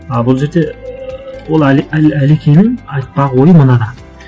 а бұл жерде ыыы ол әлекеңнің айтпақ ойы мынада